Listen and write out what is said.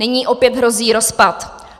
Nyní opět hrozí rozpad.